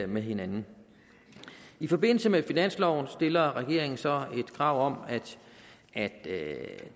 med hinanden i forbindelse med finansloven stiller regeringen så et krav om at at